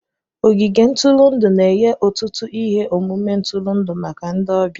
Ogige ntụrụndụ na-enye ọtụtụ ihe omume ntụrụndụ maka ndị ọbịa.